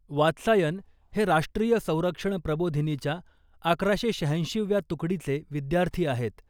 वात्सायन हे राष्ट्रीय संरक्षण प्रबोधिनीच्या अकराशे शहाऐंशीव्या तुकडीचे विद्यार्थी आहेत .